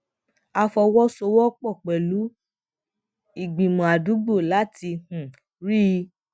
a fọwósowópò pèlú ìgbìmò àdúgbò láti um rí i